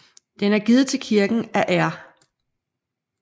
Den er givet til kirken af R